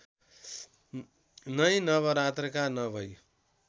नै नवरात्रका नवै